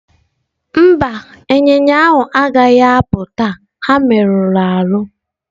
Mba, ịnyịnya agaghị apụ taa ha merụrụ ahụ.